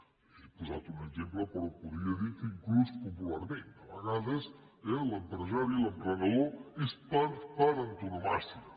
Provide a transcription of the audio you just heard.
li he posat un exemple però podria dir que inclús popularment a vegades eh l’empresari l’emprenedor ho és per antonomàsia